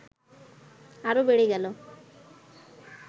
আরও বেড়ে গেল